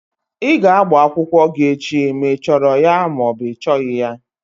Ị ga-agba akwụkwọ gị echi ma ị chọrọ ya ma ọ bụ ị chọghị ya!